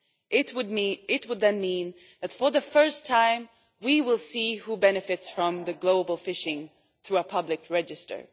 This would then mean that, for the first time, we will see who benefits from global fishing through a public register.